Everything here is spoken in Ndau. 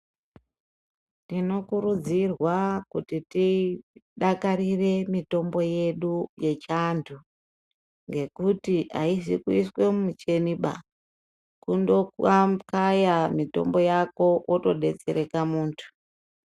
Tinokurudzirwa kuti tidakarire mutombo yedu yechiantu ngekuti aizi kuiswe mucheniba kundoamukaya Mutombo yako wotodetsereka muntu.